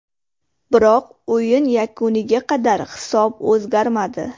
Biroq o‘yin yakuniga qadar hisob o‘zgarmadi.